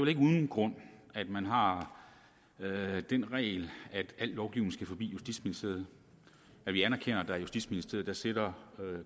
ikke uden grund at man har den regel at al lovgivning skal forbi justitsministeriet vi anerkender at i justitsministeriet sidder